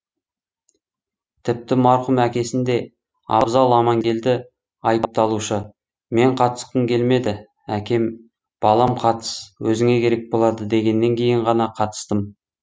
тіпті марқұм әкесін де абзал амангелді айыпталушы мен қатысқым келмеді әкем балам қатыс өзіңе керек болады дегенен кейін ғана қатыстым